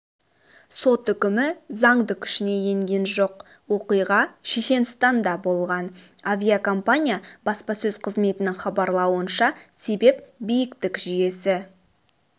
сот үкімі заңды күшіне енген жоқ оқиға шешенстанда болған авиакомпания баспасөз қызметінің хабарлауынша себеп биіктік жүйесі